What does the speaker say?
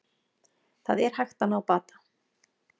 Það er hægt að ná bata